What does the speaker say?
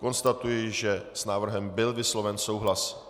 Konstatuji, že s návrhem byl vysloven souhlas.